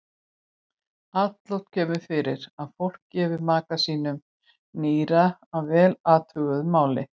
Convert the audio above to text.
Alloft kemur fyrir að fólk gefi maka sínum nýra að vel athuguðu máli.